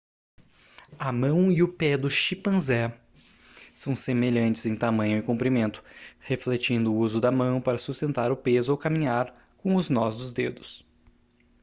a mão e o pé do chimpanzé são semelhantes em tamanho e comprimento refletindo o uso da mão para sustentar o peso ao caminhar com os nós dos dedos